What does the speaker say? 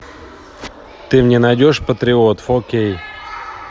ты мне найдешь патриот фо кей